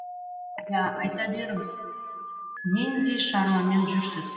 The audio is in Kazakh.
иә айта беріңіз нендей шаруамен жүрсіз